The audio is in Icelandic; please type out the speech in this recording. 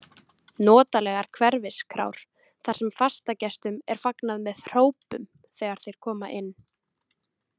Notalegar hverfiskrár þar sem fastagestum er fagnað með hrópum þegar þeir koma inn.